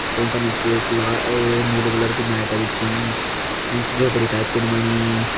तोंका निस एक ला अ-अ नीलू कलर कु मैट बिछीं एंच झोपड़ी टाइपन बणी।